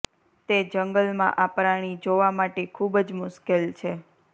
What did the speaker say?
તે જંગલ માં આ પ્રાણી જોવા માટે ખૂબ જ મુશ્કેલ છે